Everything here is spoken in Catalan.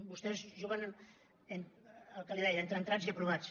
vostès juguen al que li deia entre entrats i aprovats